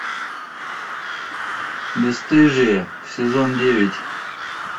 бесстыжие сезон девять